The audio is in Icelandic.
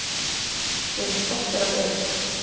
Við erum stoltir af Eric.